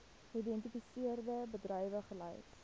geïdentifiseerde bedrywe gelys